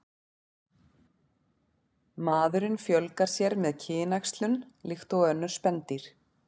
Maðurinn fjölgar sér með kynæxlun líkt og önnur spendýr.